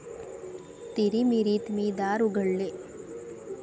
तिरीमिरीत मी दार उघडले.